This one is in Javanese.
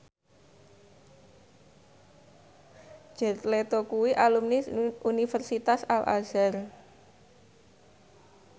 Jared Leto kuwi alumni Universitas Al Azhar